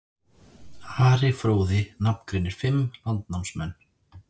Ari fróði nafngreinir fimm landnámsmenn.